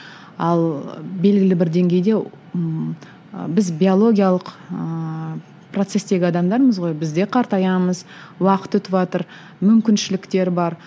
ал белгілі бір деңгейде ммм ы біз биологиялық ыыы процестегі адамдармыз ғой бізде қартаямыз уақыт өтіватыр мүмкіншіліктер бар